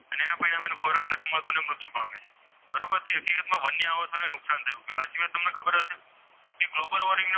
અને ખોરાક નથી મળતો અને મૃત્યુ પામે છે. બરોબર છે હકીકતમાં વન્ય આવાસોને નુકસાન થયું કહેવાય એ સિવાય તમને ખબર હશે કે ગ્લોબલ વોર્મિંગના પરિણામે,